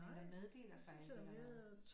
Men man meddeler så et eller andet